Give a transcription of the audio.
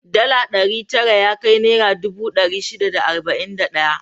Dala ɗari tara yakai naira dubu ɗari shida da arba'in da ɗaya.